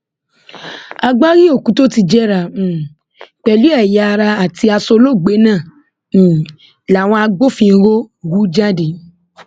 agbárí òkú tó ti jẹrà um pẹlú ẹyàara àti aṣọ olóògbé náà um làwọn agbófinró hù jáde